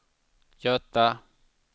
Göta